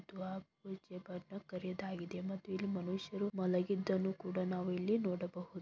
ಆ ಕುಚೇಬದು ಕರಿದಾಗಿದೆ. ಮತ್ತು ಇಲ್ಲಿ ಮನುಷ್ಯರು ಮಲಗಿದನ್ನು ಕೂಡ ನಾವು ಇಲ್ಲಿ ನೋಡಬಹುದು.